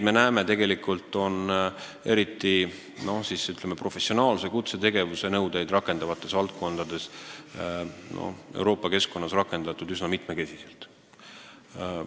Me näeme, et neid nn professionaalse kutsetegevuse nõudeid on Euroopa keskkonnas rakendatud üsna mitmekesiselt.